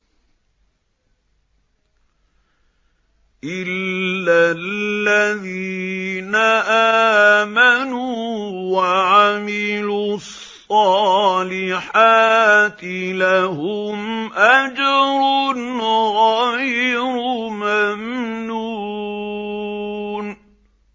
إِلَّا الَّذِينَ آمَنُوا وَعَمِلُوا الصَّالِحَاتِ لَهُمْ أَجْرٌ غَيْرُ مَمْنُونٍ